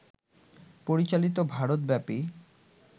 পরিচালিত ভারতব্যাপী